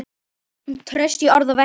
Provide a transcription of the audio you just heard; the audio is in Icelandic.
Traust í orði og verki.